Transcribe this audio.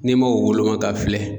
N'i ma u woloma ka filɛ